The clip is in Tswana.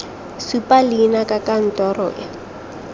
supa leina la kantoro e